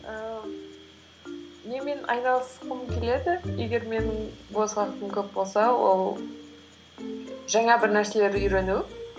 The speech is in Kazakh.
ііі немен айналысқым келеді егер менің бос уақытым көп болса ол жаңа бір нәрселерді үйрену